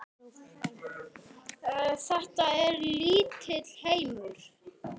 Þetta er lítill heimur.